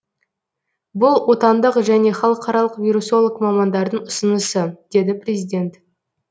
бұл отандық және халықаралық вирусолог мамандардың ұсынысы деді президент